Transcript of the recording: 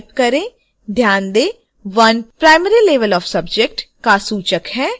ध्यान दें 1 primary level of subject का सूचक है